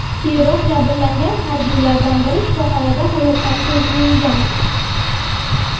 Keyinroq jabrlangan harbiylardan biri shifoxonada hayotdan ko‘z yumgan.